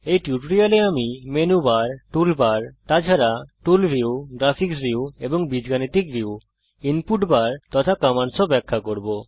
এই টিউটোরিয়াল এ আমি সংক্ষেপে মেনু বার টুল বার তাছাড়া টুল ভিউ গ্রাফিক্স ভিউ এবং বীজগণিত ভিউ ইনপুট বার তথা কমান্ডস ব্যাখ্যা করব